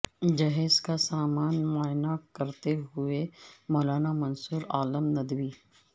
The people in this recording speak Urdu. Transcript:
جہیز کے سامان کا معائنہ کرتے ہوئے مولانا منصور عالم ندوی